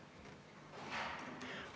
Aitäh!